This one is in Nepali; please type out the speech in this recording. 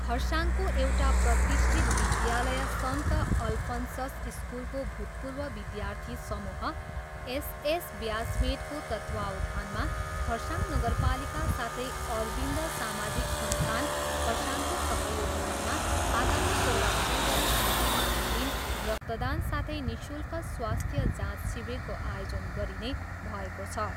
खरसाङको एउटा प्रतिष्ठित विद्यालय सन्त अल्फन्सस स्कुलको भूतपूर्व विद्यार्थी समूह एसएस ब्याचमेटको तत्त्वावधानमा खरसाङ नगरपालिका साथै अरविन्द सामाजिक संस्थान खरसाङको सहयोगितामा आगामी सोह्र फरवरी आइतबारका दिन रक्तदान साथै निःशुल्क स्वास्थ्य जाँच शिविरको आयोजन गरिने भएको छ।